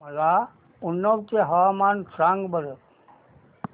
मला उन्नाव चे हवामान सांगा बरं